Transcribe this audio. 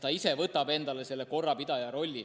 Ta ise võtab endale korrapidaja rolli.